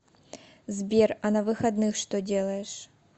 сбер а на выходных что делаешь